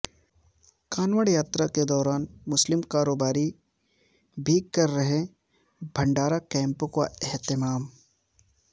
کانوڑ یاترا کے دوران مسلم کاروباری بھی کر رہے بھنڈارا کیمپوں کا اہتمام